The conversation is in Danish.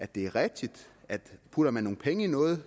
det er rigtigt at putter man nogle penge i noget